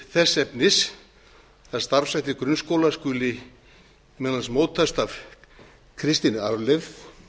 þess efnis að starfshættir grunnskóla skuli meðal annars mótast af kristinni arfleifð